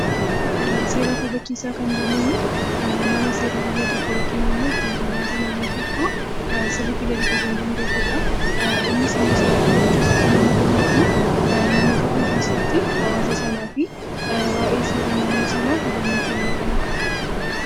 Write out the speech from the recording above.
Seera kabachiisaa kan jennuun nama seera naannoo tokkoo yookiin ittiin bulmaata naannoo tokkoo sirriitti gadi fageenyaan beekudha. Innis immoo seera kabachiisuu kan inni danda'u naannoo tokko keessatti hawaasa waayee seera sanaa hubannoo kennuudhaani.